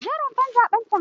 Je rumfar zaɓen can!